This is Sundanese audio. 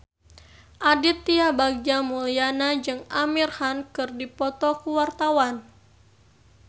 Aditya Bagja Mulyana jeung Amir Khan keur dipoto ku wartawan